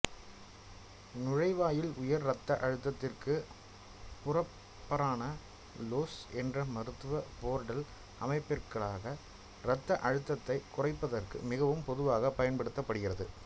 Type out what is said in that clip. நுழைவாயில் உயர் இரத்த அழுத்தத்திற்கு புரப்ரானாலோல் என்ற மருந்து போர்டல் அமைப்பிற்குள்ளாக இரத்த அழுத்தத்தைக் குறைப்பதற்கு மிகவும் பொதுவாக பயன்படுத்தப்படுகிறது